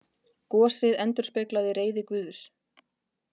Gosið endurspeglaði reiði Guðs